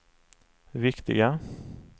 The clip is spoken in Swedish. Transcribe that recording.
viktiga